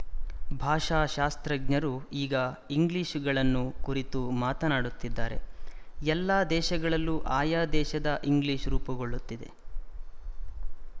ಭಾಷಾಶಾಸ್ತ್ರಜ್ಞರು ಈಗ ಇಂಗ್ಲಿಶ‍ಗಳನ್ನು ಕುರಿತು ಮಾತನಾಡುತ್ತಿದ್ದಾರೆ ಎಲ್ಲ ದೇಶಗಳಲ್ಲೂ ಆಯಾ ದೇಶದ ಇಂಗ್ಲಿಶ ರೂಪುಗೊಳ್ಳುತ್ತಿದೆ